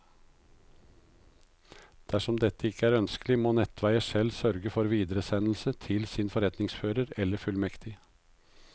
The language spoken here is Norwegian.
Dersom dette ikke er ønskelig, må netteier selv sørge for videresendelse til sin forretningsfører eller fullmektig.